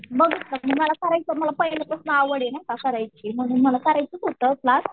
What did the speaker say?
बघ मला करायचं आहे मला पहिल्यापासनं आवड आहे नाय का करायची मला करायचंच होतं क्लास